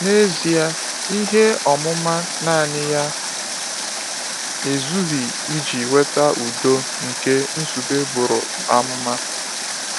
N’ezie, ihe ọmụma naanị ya ezughị iji weta udo nke Nzube buru amụma.